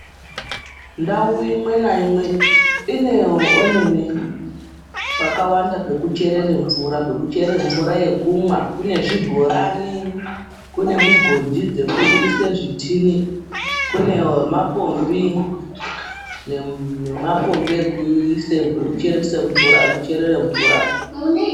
Ndau imwe naimwe ine pakawanda pekucherere mvura yekumwa. Kune zvibhorani, kune mugodhi dzekumwise zvitini, kune mapombi nemapombi ekucherere mvura.